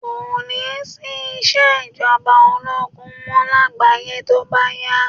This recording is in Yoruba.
Kò ní sí ìṣèjọba ológun mọ́ lágbàáyé tó bá yá